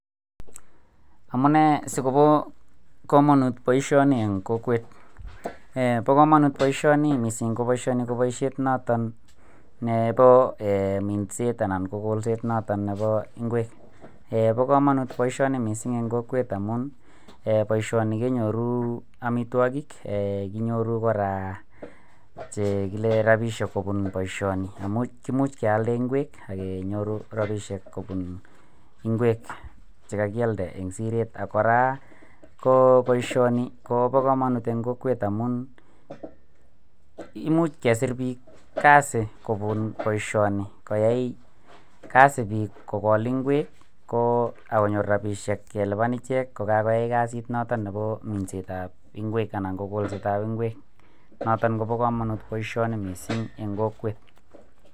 Amune si kobo kamanut boisioni eng kokwet, um bo kamanut boisioni mising ko boisioni ko boisiet noton nebo um minset anan ko kolset noto nebo ingwek, um bo kamanut boisioni mising eng kokwet amun, um boisioni kenyoru amitwogik, kinyoru kora che kile rabiisiek kobun boisioni, imuch kealde ingwek ak kenyoru rabiisiek kobun ingwek che kakialde eng siret, ak kora ko boisioni kobo kamanut eng kokwet amun, imuch kesir piik kazi kobun boisioni, koyai kazi piik kokol ingwek, ko akonyor rabiisiek kelipan ichek ko kakoyai kasit noton bo minsetab ingwek anan ko kolsetab ingwek, noton kobo kamanut boisioni mising eng kokwet.